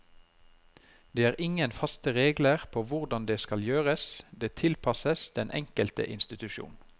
Det er ingen faste regler på hvordan det skal gjøres, det tilpasses den enkelte institusjon.